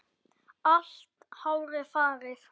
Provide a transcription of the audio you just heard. Allt hárið farið.